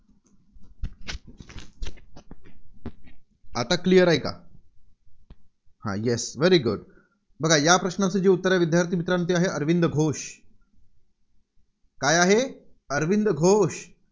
आता clear आहे का? हा Yes Very Good बघा या प्रश्नाचं जे उत्तर आहे विद्यार्थी मित्रांनो ते आहे, अरविंद घोष. काय आहे, अरविंद घोष.